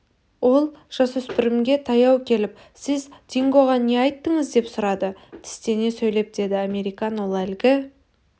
ол жасөспірімге таяу келіп сіз дингоға не айттыңыз деп сұрады тістене сөйлеп деді американ ол әлгі